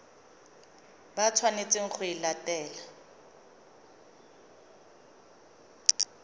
ba tshwanetseng go e latela